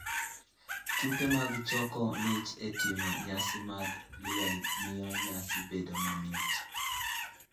Tuke mag choko mich e timo nyasi mag miel miyo nyasi bedo mamit.